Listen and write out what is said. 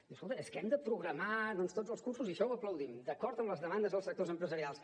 diu escolta és que hem de programar doncs tots els cursos i això ho aplaudim d’acord amb les demandes dels sectors empresarials